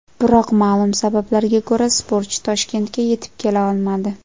Biroq ma’lum sabablarga ko‘ra, sportchi Toshkentga yetib kela olmadi.